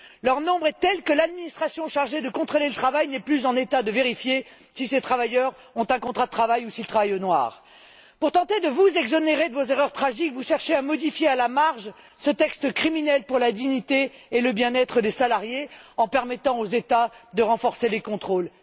Leur nombre est tel que l'administration chargée de contrôler le travail n'est plus en état de vérifier si ces travailleurs ont un contrat de travail ou s'ils travaillent au noir. Pour tenter de vous exonérer de vos erreurs tragiques, vous cherchez à modifier à la marge ce texte criminel pour la dignité et le bien être des salariés en permettant aux États de renforcer les contrôles.